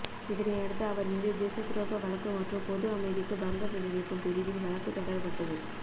இதனையடுத்து அவர் மீது தேசத்துரோக வழக்கு மற்றும் பொது அமைதிக்கு பங்கம் விளைவிக்கும் பிரிவில் வழக்கு தொடரப்பட்டது